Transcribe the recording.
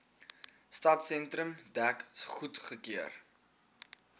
stadsentrum dek goedgekeur